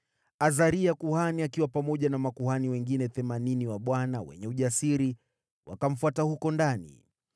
Azaria kuhani akiwa pamoja na makuhani wengine themanini wa Bwana wenye ujasiri wakamfuata huko ndani.